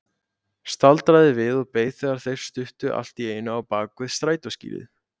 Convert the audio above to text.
Staldraði við og beið þegar þeir stukku allt í einu á bak við strætóskýli.